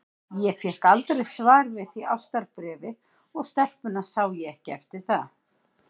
Ég fékk aldrei svar við því ástarbréfi, og stelpuna sá ég ekki eftir það.